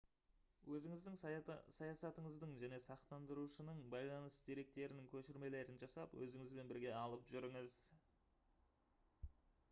өзіңіздің саясатыңыздың және сақтандырушының байланыс деректерінің көшірмелерін жасап өзіңізбен бірге алып жүріңіз